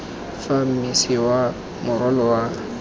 fa mmese wa morwalo wa